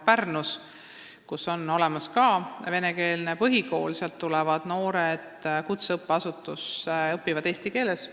Seal on olemas venekeelne põhikool, kust noored tulevad kutseõppeasutusse ja hakkavad seal eesti keeles õppima.